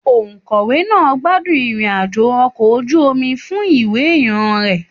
Òkọ̀wé náà gbádùn ìrìn-àjò ọkọ̀ ojú omi fún ìwò ìran rẹ̀.